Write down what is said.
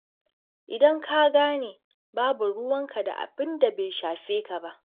Idan ka gane, babu ruwanka da abin da bai shafe ka ba.